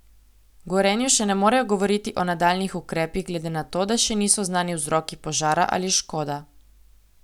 V Gorenju še ne morejo govoriti o nadaljnjih ukrepih glede na to, da še niso znani vzroki požara ali škoda.